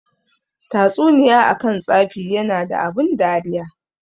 Tatsuniya akan tsafi yana da abun dariya.